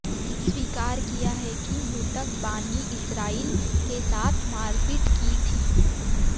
स्वीकार किया है कि मृतक बानी इसराइल के साथ मारपीट की थी